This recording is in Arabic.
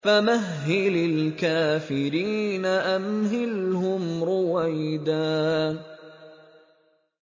فَمَهِّلِ الْكَافِرِينَ أَمْهِلْهُمْ رُوَيْدًا